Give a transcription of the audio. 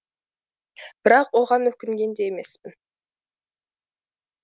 бірақ оған өкінген де емеспін